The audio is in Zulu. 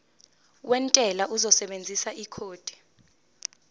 wentela uzosebenzisa ikhodi